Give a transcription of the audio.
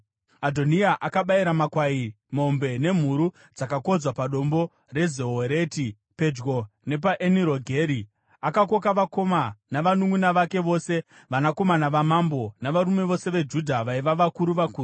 Adhoniya akabayira makwai, mombe nemhuru dzakakodzwa paDombo reZohereti, pedyo nepaEnirogeri. Akakoka vakoma navanunʼuna vake vose, vanakomana vamambo, navarume vose veJudha vaiva vakuru vakuru,